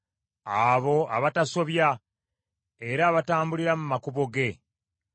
Abo abatasobya, era abatambulira mu makubo ge.